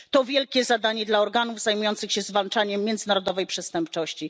To wielkie zadanie dla organów zajmujących się zwalczaniem międzynarodowej przestępczości.